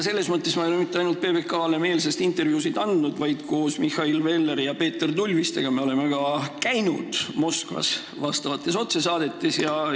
Sellepärast ma ei ole mitte ainult PBK-le meelsasti intervjuusid andnud, vaid olen koos Mihhail Velleri ja Peeter Tulvistega ka Moskvas vastavates otsesaadetes käinud.